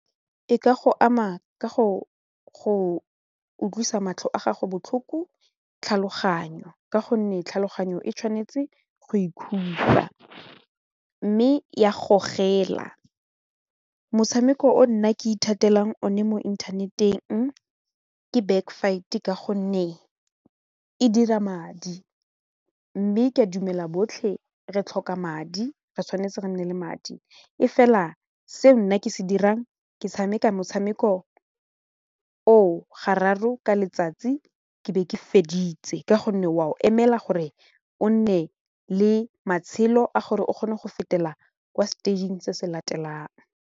E ka go ama ka go utlwisa matlho a gago botlhoko tlhaloganyo ka gonne tlhaloganyo e tshwanetse go ikhutsa mme ya gogela, motshameko o nna ke ithatela one mo inthaneteng ke back fight ka gonne e dira madi mme ke a dumela botlhe re tlhoka madi re tshwanetse re nne le madi e fela se nna ke se dirang ke tshameka motshameko oo gararo ka letsatsi ke be ke feditse ka gonne wa o emela gore o nne le matshelo a gore o kgone go fetela kwa stage-ing se se latelang.